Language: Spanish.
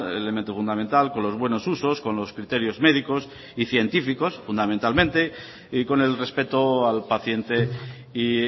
elemento fundamental con los buenos usos con los criterios médicos y científicos fundamentalmente y con el respeto al paciente y